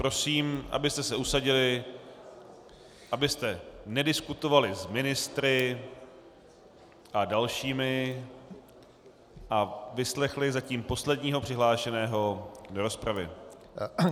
Prosím, abyste se usadili, abyste nediskutovali s ministry a dalšími a vyslechli zatím posledního přihlášeného do rozpravy.